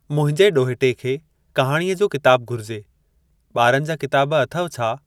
मुंहिंजे ॾोहटे खे कहाणीअ जो किताबु घुरिजे। ॿारनि जा किताब अथव छा ?